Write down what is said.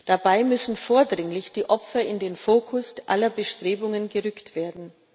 Dabei müssen vordringlich die Opfer in den Fokus aller Bestrebungen gerückt werden.